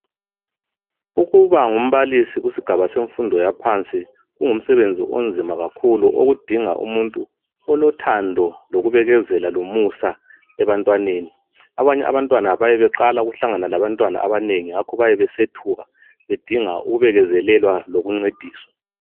Ukuba ngumbalisi kusigaba semfundo yaphansi kungumsebenzi onzima kakhulu okudinga umuntu olothando, lokubekezela lomusa ebantwaneni. Abanye abantwana bayabe beqala ukuhlangana labantwana abanengi ngakho bayabe besethuka bedinga ukubekezelelwa lokuncediswa.